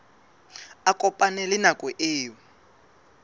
a kopane le nako eo